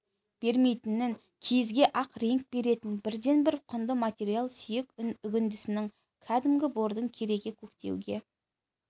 бермейтінін киізге ақ реңк беретін бірден-бір құнды материал сүйек үгіндісінің кәдімгі бордың кереге көктеуге